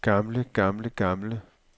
gamle gamle gamle